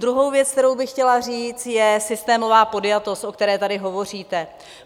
Druhá věc, kterou bych chtěla říct, je systémová podjatost, o které tady hovoříte.